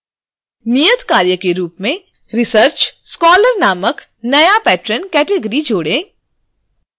नियतकार्य के रूप में research scholar नामक नया patron category जोड़ें